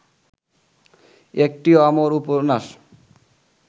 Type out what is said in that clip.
একটি অমর উপন্যাস